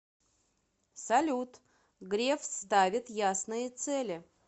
салют греф ставит ясные цели